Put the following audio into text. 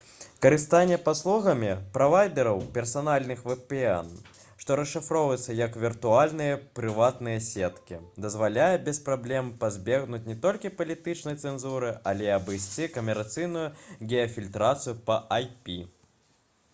карыстанне паслугамі правайдэраў персанальных vpn што расшыфроўваецца як «віртуальныя прыватныя сеткі» дазваляе без праблем пазбегнуць не толькі палітычнай цэнзуры але і абыйсці камерцыйную геафільтрацыю па ip